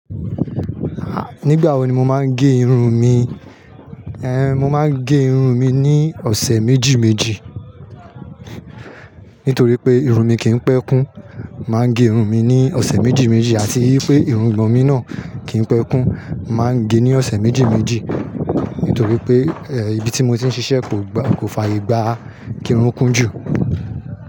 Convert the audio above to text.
Ah! Nígbà wo ni mo máa ń gẹ irun-ùn mi? Ehn! Mo máa ń gẹ irun mi ní ọ̀sẹ̀ méjì méjì. Nítorí pé irun mi kì í pẹ́ kún, màá gẹ irun mi ní ọ̀sẹ̀ méjì méjì. Àti wípé irungbọ̀n mi náà kì í pẹ́ kún, màá gẹ ní ọ̀sẹ̀ méjì méjì. Nítorí pé, eh ibi tí mo ti ń ṣiṣẹ́ kò gba, kò fàyè gbà kí irun kún jù.